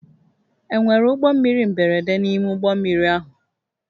Enwere ụgbọ mmiri mberede n'ime ụgbọ mmiri ahụ?